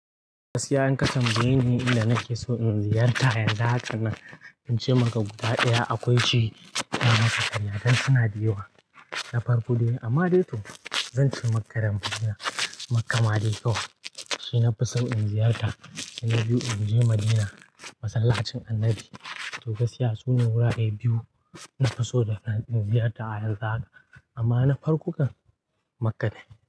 Gaskiya in ka tambaye ni inda nake so in ziyarta a yan zaka nan, in ce maka guda daya akwai ce, in masa saniya dan suna da yawa. Na farko dai amma dai to zan ce maka dambe daya Makka Madekawa. Shi na fi so in ziyarta, sai na biyu in je Madina masallacin annabi. To gaskiya sune wurare biyu na fi so da na ziyarta a yan zaka amma na farko kan Makka ne.